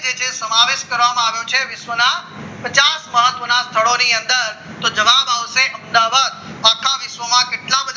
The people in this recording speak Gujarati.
સમાવેશ કરવામાં આવ્યો છે વિશ્વના પચાસ મહત્વના સ્થળો ની અંદર તો જવાબ આવશે અમદાવાદ આખા વિશ્વમાં કેટલા